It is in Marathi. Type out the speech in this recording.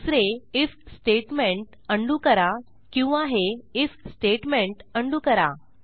दुसरे आयएफ स्टेटमेंट उंडो करा किंवा हे आयएफ स्टेटमेंट उंडो करा